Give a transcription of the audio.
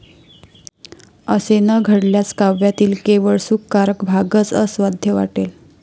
असे न घडल्यास काव्यातील केवळ सुखकारक भागच अस्वाद्य वाटेल.